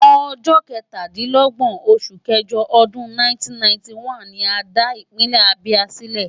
Ọjọ́ kẹtàdínlógbọ̀n oṣù kẹjọ ọdún 1991 ni a dá Ìpínlẹ̀ Abia sílẹ̀.